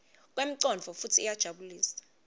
kwemcondvo futsi iyajabulisa